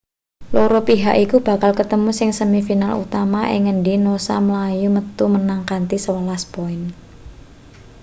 loro pihak iku bakal ketemu ing semi final utama ing ngendi noosa mlayu metu menang kanthi 11 poin